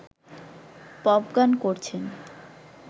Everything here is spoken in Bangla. পপ গান করছেন